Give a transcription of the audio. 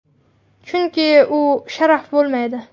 Chunki u sharaf bo‘lmaydi.